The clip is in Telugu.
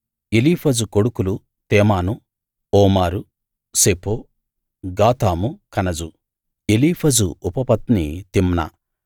ఎలీఫజు కొడుకులు Teman Omar Zepho Gatam Kenaz Eliphaz ఉపపత్ని తిమ్నా